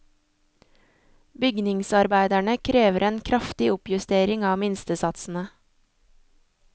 Bygningsarbeiderne krever en kraftig oppjustering av minstesatsene.